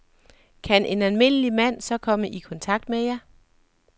Kan en almindelig mand så komme i kontakt med jer?